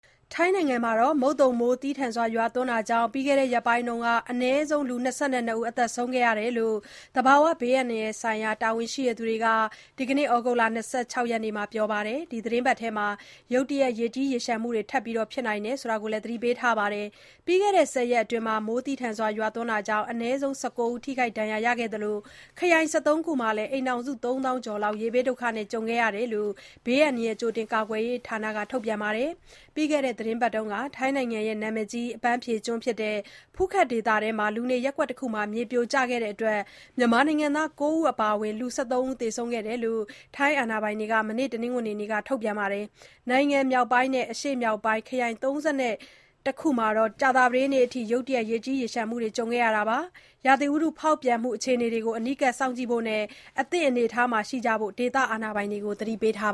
ထိုင်းနိုင်ငံမှာ မုတ်သုံမိုးသည်းထန်စွာရွာတာကြောင့် ပြီးခဲ့တဲ့ ရက်ပိုင်းအတွင်း အနည်းဆုံး လူ ၂၂ ဦး သေဆုံးခဲ့တယ်လို့ သဘာဝ ဘေးအန္တရာယ်ဆိုင်ရာ တာဝန်ရှိသူတွေက ဒီကနေ့ ဩဂုတ်လ ၂၆ ရက်နေ့မှာ ပြောပါတယ်။ ဒီသီတင်းပတ်အတွင်း ရုတ်တရက် ရေကြီးရေလျှံမှုတွေ ထပ်ပြီး ဖြစ်နိုင်တယ်လို့လည်း သတိပေးထားပါတယ်။ ပြီးခဲ့တဲ့ ၁၀ ရက်အတွင်း မိုးသည်းထန်တာကြောင့် အနည်းဆုံး ၁၉ ဦး ထိခိုက်ဒဏ်ရာရခဲ့သလို ခရိုင် ၁၃ ခုမှာ အိမ်ထောင်စု ၃ သောင်းကျော်လောက် ရေဘေးဒုက္ခနဲ့ ကြုံခဲ့တယ်လို့ ဘေးအန္တရာယ် ကြိုတင် ကာကွယ်ရေးဌာနက ထုတ်ပြန်ပါတယ်။ ပြီးခဲ့တဲ့ သီတင်းပတ်က ထိုင်းနိုင်ငံ နာမည်ကြီး အပန်းဖြေကျွန်း ဖူးခက် ဒေသအတွင်းက လူနေရပ်ကွက်တခုမှာ မြေပြိုခဲ့တာကြောင့် မြန်မာနိုင်ငံသား ၉ ဦး အပါအဝင် လူ ၁၃ ဦး သေဆုံးခဲ့တယ်လို့ ထိုင်းအာဏာပိုင်တွေက မနေ့ တနင်္ဂနွေနေ့က ပြောပါတယ်။ နိုင်ငံမြောက်ပိုင်းနဲ့ အရှေ့မြောက်ပိုင်း ခရိုင် ၃၁ ခုမှာ ကြာသပတေးနေ့အထိ ရုတ်တရက် ရေကြီးရေလျှံမှုတွေ ကြုံတွေ့ခဲ့တာပါ။ ရာသီဥတု ဖောက်ပြန်မှု အခြေအနေတွေကို အနီးကပ်စောင့်ကြည့်ဖို့နဲ့ အသင့်အနေအထားရှိဖို့ ဒေသအာဏာပိုင်တွေကို သတိပေးထား